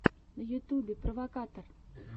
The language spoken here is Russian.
на ютубе провокатор